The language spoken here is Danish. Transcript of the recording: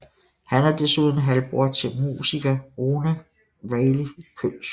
Han er desuden halvbror til musiker Rune Reilly Kølsch